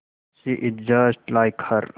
she is just like her